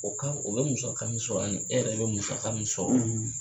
O kan o bɛ musaka min sɔrrɔ ani e yɛrɛ bɛ musaka min sɔrɔ